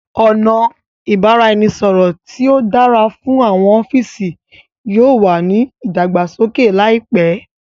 ọna ibaraẹnisọrọ ti o dára fún àwọn ọfiisi yóò wá ní ìdàgbàsókè láìpé